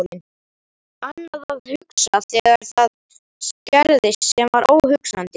Annað að hugsa þegar það gerðist sem var óhugsandi.